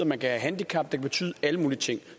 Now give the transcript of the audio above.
man kan have handicap det kan betyde alle mulige ting